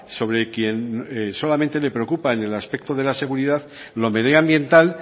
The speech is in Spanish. sobre quien solamente le preocupa en el aspecto de la seguridad lo medioambiental